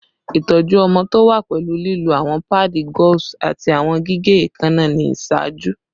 Itọju ọmọ to wa pẹlu lilo awọn paadi gauze ati awọn gige eekanna ni iṣaaju